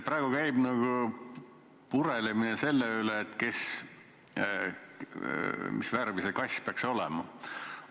Praegu käib purelemine selle üle, mis värvi see kass peaks olema.